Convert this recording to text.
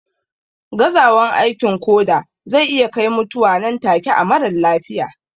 Gazawan aikin koda zai iya kai mutuwa nan take na marar lafiya